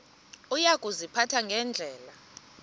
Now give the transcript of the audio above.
uya kuziphatha ngendlela